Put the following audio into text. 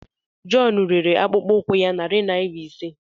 John rere akpụkpọ ụkwụ ya narị naira ise.